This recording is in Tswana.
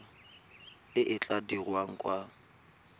e e tla dirwang kwa